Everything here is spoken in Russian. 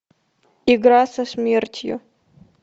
игра со смертью